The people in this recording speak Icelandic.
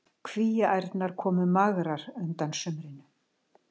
Kvíaærnar komu magrar undan sumrinu.